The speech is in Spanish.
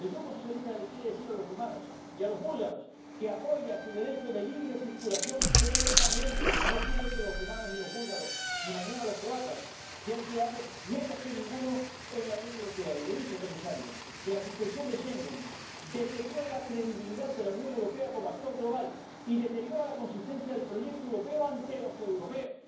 El Grupo socialista les quiere decir a los rumanos y a los búlgaros que apoya plenamente su derecho de libre circulación y no quiere que los rumanos y los búlgaros, ni mañana los croatas, sean menos ciudadanos que otros en la Unión Europea y le dice, comisario, que la suspensión de Schengen deteriora la credibilidad de la Unión Europea como actor global y deteriora la consistencia del proyecto europeo ante los europeos.